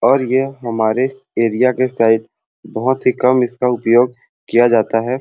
ओर ये हमारे एरिया के साइड बहुत ही कम इसका उपयोग किया जाता है।